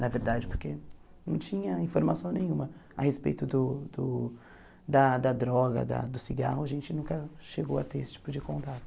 Na verdade, porque não tinha informação nenhuma a respeito do do... da da droga, da do cigarro, a gente nunca chegou a ter esse tipo de contato.